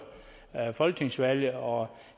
folketingsvalget og